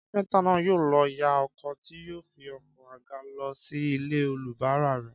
Kápẹ́ntà náà yóò lọ yá ọkọ̀ tí yóò fi oko àga lọ sí ilé olùbárà rẹ̀